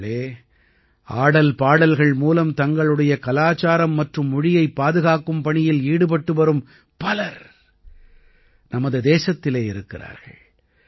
நண்பர்களே ஆடல்பாடல்கள் மூலம் தங்களுடைய கலாச்சாரம் மற்றும் மொழியைப் பாதுகாக்கும் பணியில் ஈடுபட்டுவரும் பலர் நமது தேசத்திலே இருக்கிறார்கள்